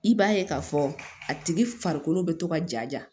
I b'a ye k'a fɔ a tigi farikolo bɛ to ka jaja